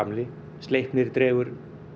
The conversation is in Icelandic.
Sleipnir dregur